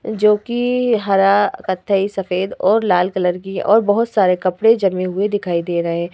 जोकि हरा कथई सफेद और लाल कलर की और बहौत सारे कपड़े जमे हुए दिखाई दे रहे --